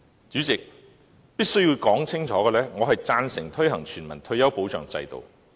主席，我必須清楚說明，我贊成推行全民退休保障制度。